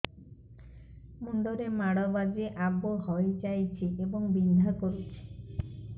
ମୁଣ୍ଡ ରେ ମାଡ ବାଜି ଆବୁ ହଇଯାଇଛି ଏବଂ ବିନ୍ଧା କରୁଛି